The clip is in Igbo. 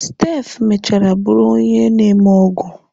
Steph mechara bụrụ onye na-eme ọgwụ.